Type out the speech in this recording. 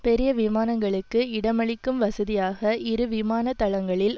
பெரிய விமானங்களுக்கு இடமளிக்கும் வசதியாக இரு விமான தளங்களில்